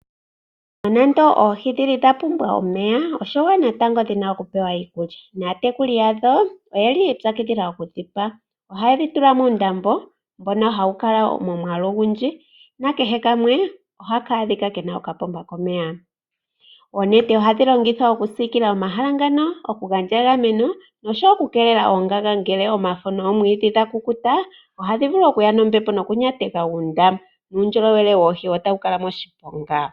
Nonando oohi odha pumbwa omeya, oshiwanawa natango opo dhi pewe iikulya natekuli yadho oye li yi ipyakidhila okudhi pa. Ohaye dhi tula muundombe, mbono hawu kala momwaalu ogundji nakehe kamwe ohaka ka adhika ke na okapomba komeya. Oonete ohadhi longithwa okusiikila omahala ngaka, opo dhi gandje egameno noshowo okukeelela oongaga. Omafo noomwiidhi ngele dha kukuta ohadhi vulu okuya nombepo nokunyateka oondaama nuundjolowele woohi otawu kala moshiponga.